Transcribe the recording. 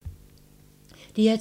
DR2